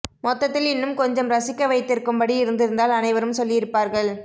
மொத்தத்தில் இன்னும் கொஞ்சம் ரசிக்க வைத்திருக்கும் படி இருந்திருந்தால் அனைவரும் சொல்லியிருப்பர்கள்